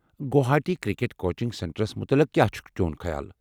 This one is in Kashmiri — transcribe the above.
گوہاٹی کرکٹ کوچنگ سینٹرس متلِق کیٛاہ خیال چٗھ چون؟